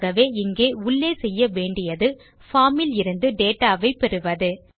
ஆகவே இங்கே உள்ளே செய்ய வேண்டியது பார்ம் இலிருந்து டேட்டா வை பெறுவது